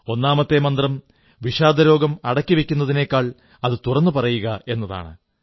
ഒന്നാമത്തെ മന്ത്രം വിഷാദരോഗം അടക്കിവയ്ക്കുന്നതിനേക്കാൾ അത് തുറന്ന് പറയുക എന്നതാണ്